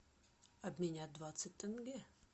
обменять двадцать тенге